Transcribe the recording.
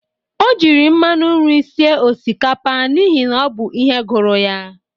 O jiri mmanụ nri sie osikapa n'ihi o bụ ihe gụrụ ya